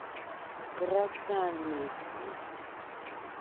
красноармейску